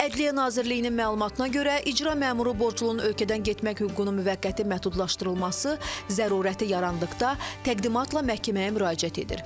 Ədliyyə Nazirliyinin məlumatına görə, icra məmuru borclunun ölkədən getmək hüququnun müvəqqəti məhdudlaşdırılması zərurəti yarandıqda təqdimatla məhkəməyə müraciət edir.